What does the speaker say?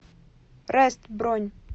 раст бронь